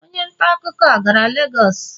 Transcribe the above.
Onye ntaakụkọ a gara Lagos?